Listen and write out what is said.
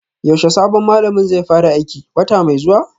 Yaushe sabon malamin zai fara aiki, wata mai zuwa?